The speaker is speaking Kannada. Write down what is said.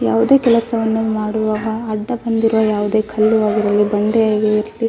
ಯಾವುದೇ ಕೆಲಸವನ್ನು ಮಾಡುವಾಗ ಅಡ್ಡಬಂದಿರುವ ಯಾವುದೇ ಕಲ್ಲುಯಾಗಲಿ ಬಂಡೆಯಾಗಲಿ --